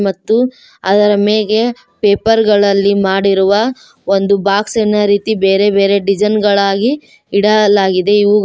ಮತ್ತು ಅದರ ಮೇಗೆ ಪೇಪರ್ ಗಳಲ್ಲಿ ಮಾಡಿರುವ ಒಂದು ಬಾಕ್ಸ್ ಇನ ರೀತಿ ಬೇರೆ ಬೇರೆ ಡಿಸೈನ್ ಗಳಾಗಿ ಇಡಲಾಗಿದೆ ಇವುಗಳು--